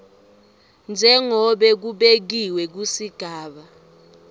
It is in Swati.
njengobe kubekiwe kusigaba